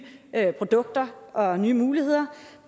produkter og nye muligheder